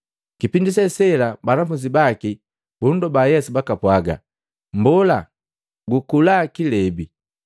Kipindi se sela banafunzi baki bundoba Yesu bakapwaga, “Mbola, kulaa kilebi!”